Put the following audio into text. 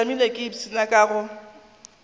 tšamile ke ipshina ka go